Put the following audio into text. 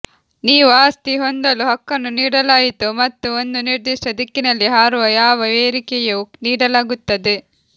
ನೀವು ಆಸ್ತಿ ಹೊಂದಲು ಹಕ್ಕನ್ನು ನೀಡಲಾಯಿತು ಮತ್ತು ಒಂದು ನಿರ್ದಿಷ್ಟ ದಿಕ್ಕಿನಲ್ಲಿ ಹಾರುವ ಯಾವ ಏರಿಕೆಯೂ ನೀಡಲಾಗುತ್ತದೆ